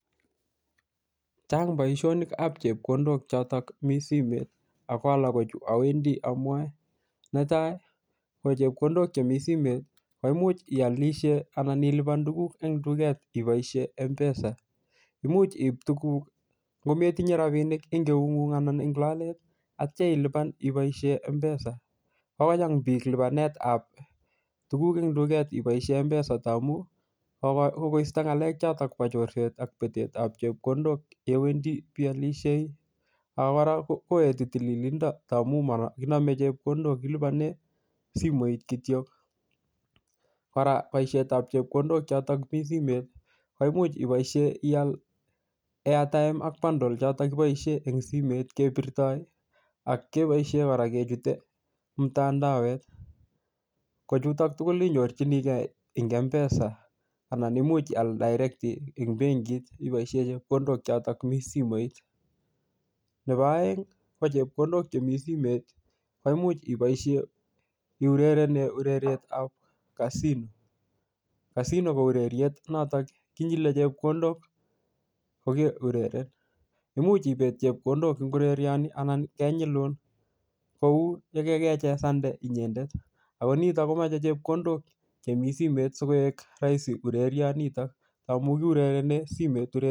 Chang boishonik ab chepkondok mi simet Ako alak kochu awendi amwae netai kochepkondok Chemi simet koimuch iolishen Alan ilipan tuguk en tuket iboishen mpesa imuch iib tuguk ngometinye rapinik en eungung anan lolet atya ilipan iboishen mpesa kokocham biik lipanetab tuguk en tuket iboishen mpesa ndamun kokoisto ngalek chotet bo chorset ak betet ab chepkondok ngi Wendi Bii olishei akora toreti tililindo tamun mokinome chepkondok kiliponen simoit kityok kora boishetab chepkondok choton mi simet koimuch iboishen iyal eataem ak bandol chotok kiboishen en simet kebirtoen ak keboishen kechuten mtandawet kichuton tugul inyorchinikee eng empesa ana imuch ial dairekt eng benkit ipoishen chepkondok choton mi simet nebo oeng ko chepkondok Chemi simet koimuch iboishen iurerenen urerietab kasino kasino kou ureriet nekinyilen chepkondok kokeureren imuch ipet chepkondok en urerioni anan kenyikuun kou elekukechesante inyendet Ako nitok komoche chepkondok Chemi simet sikoik roisi urerionitok amun kiurerenen simoit